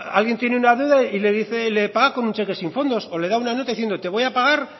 alguien tiene una deuda y le dice que le paga con un cheque sin fondo o le da una nota diciendo te voy a pagar